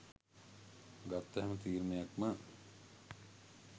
ගත්ත හැම තීරණයක්ම